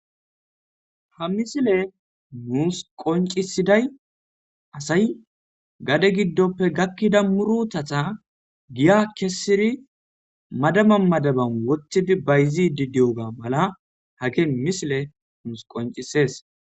ha misile muus qoncisiday asay gade giddoppe gakkida murutatha giya kessiri madama madaban wothidi bayzi didiyoga mala hake misile nuus qoncisees